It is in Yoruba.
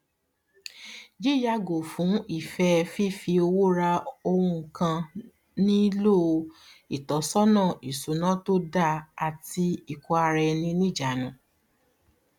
yíyàgò fún ìfẹ fífi owó ra oun kan nílò ìtọnisọnà ìṣúná tó dáa àti ìkó ara ní ní ìjanu